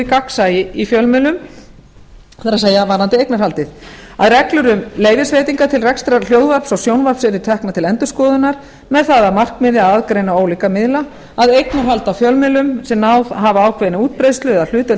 gagnsæi á fjölmiðlum það er varðandi eignarhaldið að reglur um leyfisveitingar til rekstrar hljóðvarps og sjónvarps yrðu teknar til endurskoðunar með það að markmiði að aðgreina ólíka miðla að eignarhald á fjölmiðlum sem náð hafa ákveðinni útbreiðslu eða hlutdeild